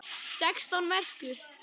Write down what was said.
Sextán merkur!